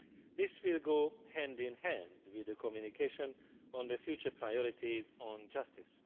This will go hand in hand with a communication on the future priorities on justice.